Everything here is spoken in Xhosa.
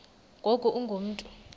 ngoku ungu mntu